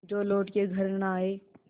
जो लौट के घर न आये